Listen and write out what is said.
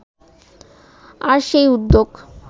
আর সেই উদ্যোগ